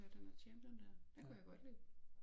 Ja den der champion dér den kunne jeg godt lide